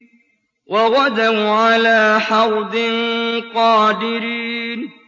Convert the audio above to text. وَغَدَوْا عَلَىٰ حَرْدٍ قَادِرِينَ